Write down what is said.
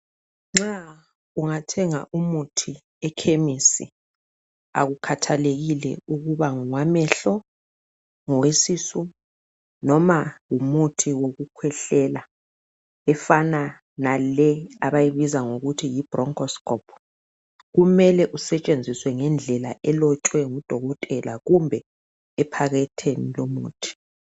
Nxa ungathenga umuthi ekhemisi akukhathalekile ukuba ngowamehlo, ngowesisu noma ngumuthi wokukhwehlela efana nale abayibiza ngokuthi yibroncho stop kumele usetshenziswe ngendlela elotshwe ngudokotela kumbe ephaketheni lomuthi.